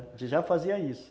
já fazia isso.